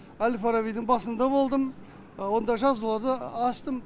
әл фарабидің басында болдым онда жазуларды аштым